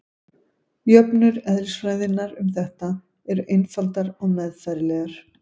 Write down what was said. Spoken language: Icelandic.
Jöfnur eðlisfræðinnar um þetta eru einfaldar og meðfærilegar.